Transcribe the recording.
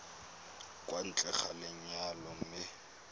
kwa ntle ga lenyalo mme